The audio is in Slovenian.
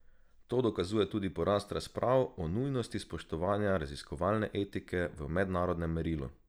To dokazuje tudi porast razprav o nujnosti spoštovanja raziskovalne etike v mednarodnem merilu.